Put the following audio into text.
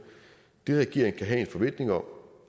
det regeringen kan have en forventning om